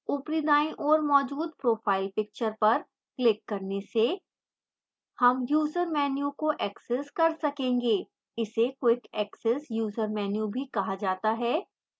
ऊपरी दाईं ओर मौजूद profile picture पर quick करने से हम user menu को access कर सकेंगे इसे quick access user menu भी कहा जाता है